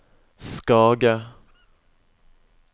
Skage